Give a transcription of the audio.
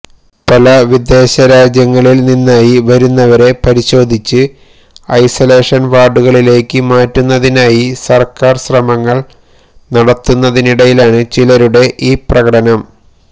പല വിദേശരാജ്യങ്ങളില് നിന്നായി വരുന്നവരെ പരിശോധിച്ച് ഐസൊലേഷന് വാര്ഡുകളിലേയ്ക്ക് മാറ്റുന്നതിനായി സര്ക്കാര് ശ്രമങ്ങള് നടത്തുന്നതിനിടയിലാണ് ചിലരുടെ ഈ പ്രകടനം